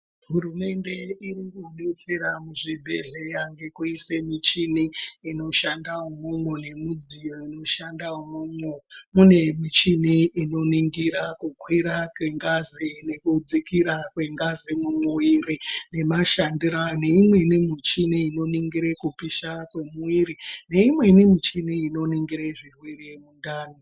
Hurumende iri kudetsera muzvibhehleya ngekuise michini inoshanda umwomwo nemudziyo unoshanda umwomwo. Mune michini inoningira kukwira kwengazi nekudzikira kwengazi mumumwiri nemashandiro ayo, neimweni michini inoningire kupisha kwemwiri, neimweni michini inoningire zvirwere mundani.